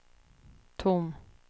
tom